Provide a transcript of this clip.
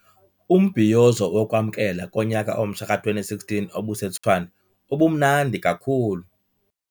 Umbhiyozo wokwamkela konyaka omtsha ka-2016 obuseTshwane ubumnandi kakhulu.